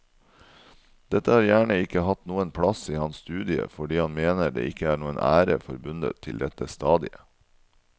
Dette har gjerne ikke hatt noen plass i hans studie fordi han mener det ikke er noen ære forbundet til dette stadiet.